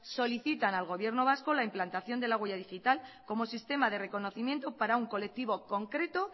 solicitan al gobierno vasco la implantación de la huella digital como sistema de reconocimiento para un colectivo concreto